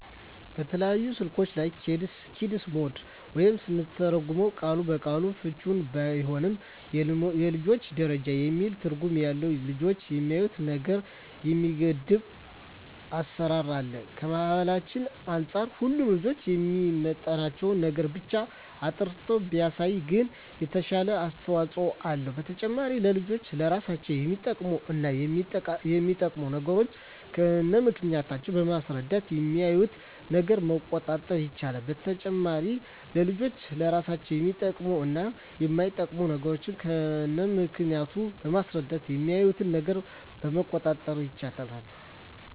በተለያዩ ስልኮች ላይ "ኪድስ ሞድ" ወይም ስንተረጉመው ቃል በቃል ፍችውም ባይሆን የልጆች ደረጃ የሚል ትርጉም ያለው ልጆች የሚያዪትን ነገር የሚገድብ አሰራር አለ። ከባህላችን አንፃር ሁሉንም ልጆችን የሚመጥን ነገርን ብቻ አጣርቶ ባያሳይም ግን የተሻለ አስተዋጽኦ አለው። በተጨማሪም ለልጆች ለራሳቸው የሚጠቅሙ እና የማይጠቅሙ ነገሮችን ከነምክንያቱ በማስረዳት የሚያዪትን ነገር መቆጣጠር ይቻላል። በተጨማሪም ለልጆች ለራሳቸው የሚጠቅሙ እና የማይጠቅሙ ነገሮችን ከነምክንያቱ በማስረዳት የሚያዪትን ነገር መቆጣጠር ይቻላል።